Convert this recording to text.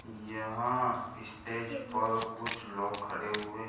कुछ लोगों को लगे हुए हैं। किस मस्त बनाओ। फोर आस पास ऍम देखो बहुत सारे--